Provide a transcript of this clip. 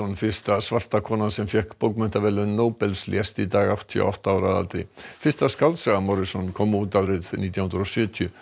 fyrsta svarta konan sem fékk bókmenntaverðlaun Nóbels lést í dag áttatíu og átta ára að aldri fyrsta skáldsaga kom út árið nítján hundruð og sjötíu